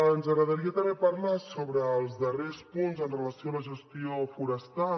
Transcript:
ens agradaria també parlar sobre els darrers punts amb relació a la gestió forestal